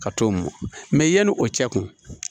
Ka t'o mɔ mɛ yani o cɛ kun